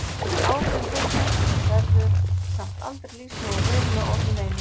Áhrifum þeirra verður samt aldrei lýst nógu vel með orðum einum.